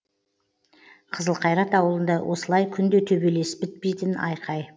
қызылқайрат ауылында осылай күнде төбелес бітпейтін айқай